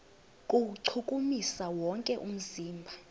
kuwuchukumisa wonke umzimba